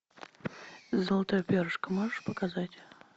золотое перышко можешь показать